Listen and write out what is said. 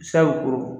Sahɛw kɔrɔ